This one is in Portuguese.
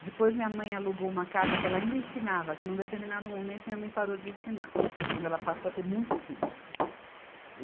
depois minha mãe alugou uma casa que ela ainda ensinava, que num determinado momento minha mãe parou de ensinar, quando ela passou a ter muitos filhos. e